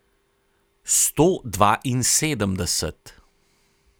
Sto dvainsedemdeset.